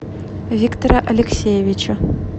виктора алексеевича